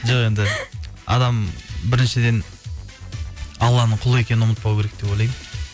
жоқ енді адам біріншіден алланың құлы екенін ұмытпау керек деп ойлаймын